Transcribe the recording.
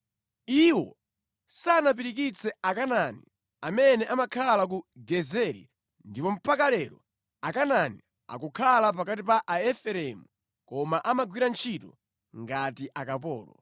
Iwo sanapirikitse Akanaani amene amakhala ku Gezeri ndipo mpaka lero Akanaani akukhala pakati pa Aefereimu koma amagwira ntchito ngati akapolo.